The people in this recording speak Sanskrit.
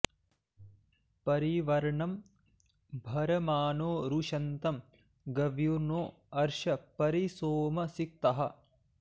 परि॒ वर्णं॒ भर॑माणो॒ रुश॑न्तं ग॒व्युर्नो॑ अर्ष॒ परि॑ सोम सि॒क्तः